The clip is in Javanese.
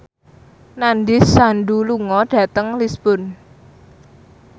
Nandish Sandhu lunga dhateng Lisburn